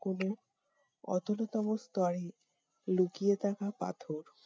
কোনো অতলতম স্তরে লুকিয়ে থাকা পাথর